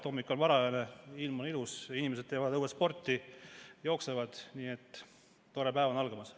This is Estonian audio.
Hommik on varajane, ilm on ilus, inimesed teevad õues sporti, jooksevad, nii et tore päev on algamas.